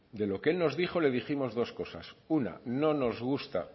de lo que él nos dijo le dijimos dos cosas una no nos gusta